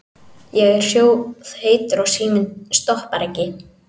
Ég er sjóðheitur og síminn stoppar ekki.